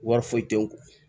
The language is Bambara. Wari foyi tɛ n kun